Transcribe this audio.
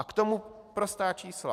A k tomu prostá čísla.